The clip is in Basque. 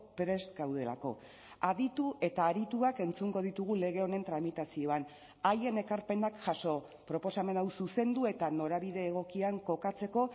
prest gaudelako aditu eta arituak entzungo ditugu lege honen tramitazioan haien ekarpenak jaso proposamen hau zuzendu eta norabide egokian kokatzeko